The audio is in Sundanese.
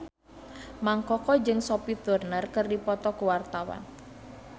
Mang Koko jeung Sophie Turner keur dipoto ku wartawan